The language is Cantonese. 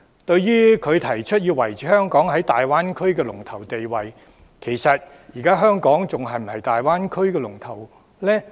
對於胡議員提出要維持香港在大灣區的龍頭地位，其實香港現時是否仍是大灣區的龍頭？